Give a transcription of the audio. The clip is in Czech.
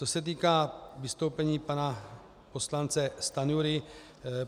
Co se týká vystoupení pana poslance Stanjury.